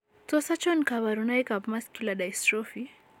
Tos achon kabarunaik ab Muscular dystrophy?